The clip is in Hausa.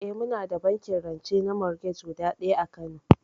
Eh muna da bankin rance na morgej guda ɗaya a kano